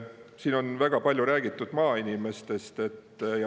Siin on väga palju räägitud maainimestest.